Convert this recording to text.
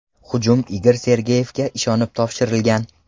Hujum Igor Sergeyevga ishonib topshirilgan.